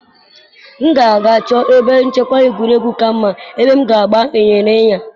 M ga-aga chọọ ebe nchekwa egwuregwu ka mma, ebe m ga-agba ịnyịnya.